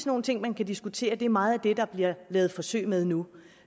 nogle ting man kan diskutere og det er meget af det der bliver lavet forsøg med nu